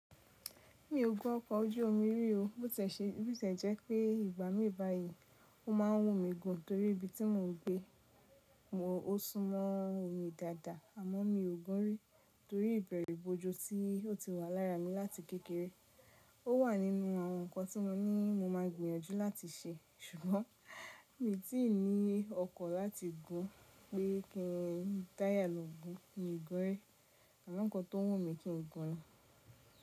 Mi ò gún ọkọ̀ ojú omi rí o. Bíó tiẹ̀ ṣe, bíó tiẹ̀ jẹ́ pé ìgbà mí báyìí, ó ma ń wùn mí gùn torí ibi tí mò ń gbé o sún mọ́ omi dáadáa àmọ́ mi ò gún rí torí ìbẹ̀rùbojo tí ó ti wà lára mi láti kékeré. Ó wà nínú àwọn ǹkan tí wọ́n ní mo máa gbìyànjú láti ṣe, ṣùgbọ́n mi tí ì ní ọkàn láti gún pé kí n dáyà lọ gún, mi ò gún rí. Àmọ́ ǹkan tó wọun mí kí n gùn ni.